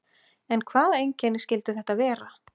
En hvaða einkenni skyldu þetta vera?